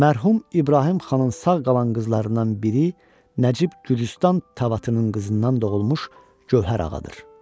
Mərhum İbrahim xanın sağ qalan qızlarından biri Nəcib Gürcüstan tavatının qızından doğulmuş Gövhər Ağadır.